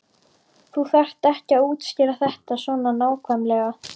Þú þarft ekki að útskýra þetta svona nákvæmlega.